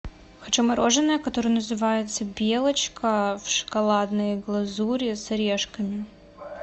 хочу мороженое которое называется белочка в шоколадной глазури с орешками